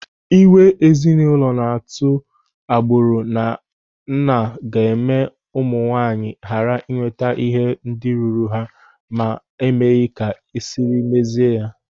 Ịhiwe ezinụlọ na-atụ agbụrụ na nna ga-eme ụmụ nwaanyị ghara ịnweta ihe ndị ruru ha ma a maghị ka esiri mezie ya.